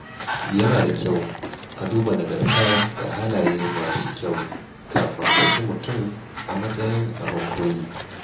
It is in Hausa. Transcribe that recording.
Yana da kyau a duba nagarta da halaye masu kyau kafin a ɗauki mutum a matsayin abin koyi.